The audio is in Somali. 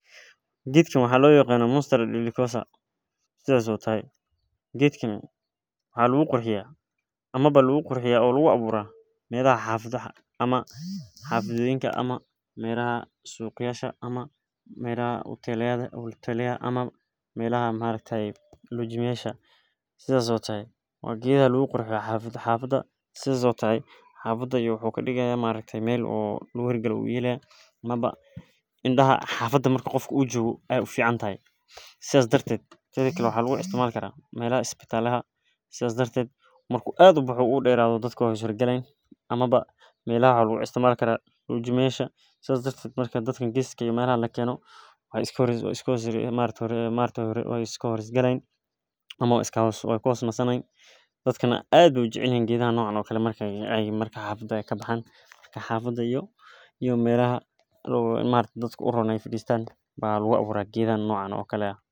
Geedkan wuxuu u eg tahay meel badiyaha ayuu kabaxaaa waa geed qalalan ama ulaha geedaha oo laga yaabo in ilkaha laga yaaba inaay tahay meel badiyaha meelaha abaraha habkan wuxuu ku hor tagaa kala duban.